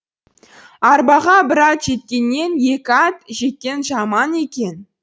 арбаға бір ат жеккеннен екі ат жеккен жаман екен